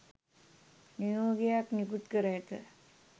නියෝගයක් නිකුත් කර ඇත